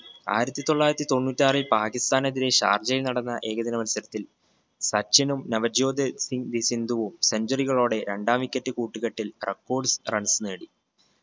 ആയിരത്തി തൊള്ളായിരത്തി തൊണ്ണൂറ്റാറിൽ പാകിസ്താനെതിരെ ഷാർജയിൽ നടന്ന ഏകദിന മത്സരത്തിൽ സച്ചിനും നവജ്യോത് സിങ്ദ് സിന്ധുവും centuary കളോടെ രണ്ടാം wicket കൂട്ടുകെട്ടിൽ records runs നേടി.